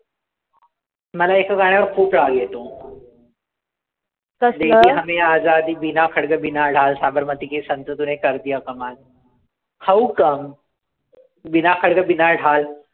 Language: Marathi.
मला एका गाण्यावर खूप राग येतो how come